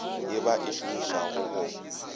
ye ba e šomišago go